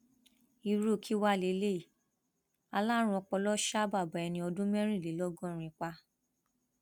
irú kí wàá lélẹyìíalárùn ọpọlọ ṣa bàbá ẹni ọdún mẹrìnlélọgọrin pa